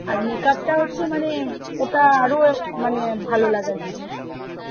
আর makeup টা হচ্ছে মানে ওটা আরো মানে ভালো লাগার জিনিস